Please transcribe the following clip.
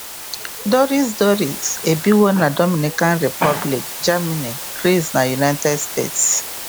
Doris Doris ebiwo na Dominican Republic, Germany, Gris, na United States.